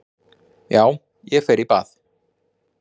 Já, ég fer í bað.